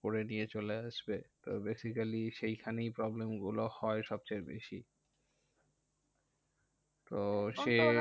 করে দিয়ে চলে আসবে। তো basically সেই খানেই problem গুলো হয় সবচেয়ে বেশি। তো সেই